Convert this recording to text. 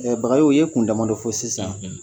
Bagayogo i ye kun damandɔ fo sisan.